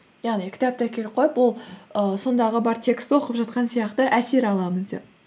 яғни кітап бұл іі сондағы бар текстті оқып жатқан сияқты әсер аламыз деп